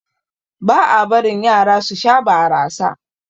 Ba a barin Yara su Sha barasa.